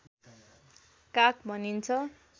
काक भनिन्छ